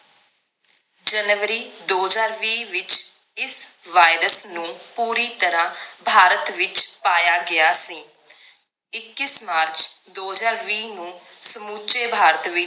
ਜਨਵਰੀ ਦੋ ਹਜਾਰ ਵੀ ਵਿਚ ਇਸ virus ਨੂੰ ਪੂਰੀ ਤਰਾਹ ਭਾਰਤ ਵਿਚ ਪਾਇਆ ਗਿਆ ਸੀ ਇੱਕੀਸ ਮਾਰਚ ਦੋ ਹਜਾਰ ਵੀ ਨੂੰ ਸਮੁਚੇ ਭਾਰਤ ਵਿਚ